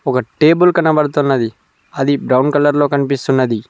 ఒక టేబుల్ కనబడుతున్నది అది బ్రౌన్ కలర్ లో కనిపిస్తున్నది.